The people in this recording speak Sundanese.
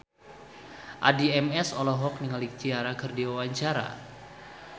Addie MS olohok ningali Ciara keur diwawancara